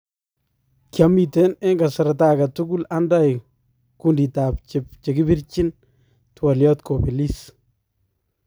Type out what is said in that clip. Kiamiten en kasarta agetukul andai kuunditab chekipirchin twaalyaat kobeliis"